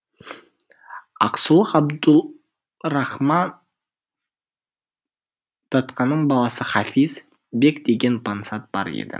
ақсулық абдулрахман датқаның баласы хафизбек деген пансат бар еді